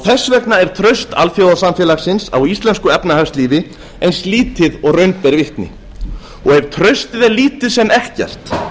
þess vegna er traust alþjóðasamfélagsins á íslensku efnahagslífi eins lítið og raun ber vitni ef traustið er lítið sem ekkert